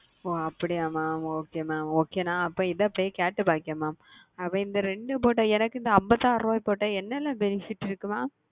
ஓ அப்டியே mam ந இத பொய் கேட்டு பாக்குற எனக்கு இந்த ஐம்பதுஅறுப போட்ட என்ன என்ன fenifed இருக்கு mam